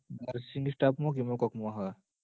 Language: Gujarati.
nursing staff મ ક ઈમ કોક મ હ